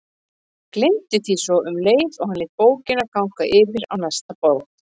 Gleymdi því svo um leið og hann lét bókina ganga yfir á næsta borð.